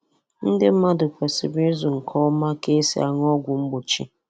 Ndị mmadụ kwesịrị ịzụ nke ọma ka esi aṅụ ọgwụ mgbochi.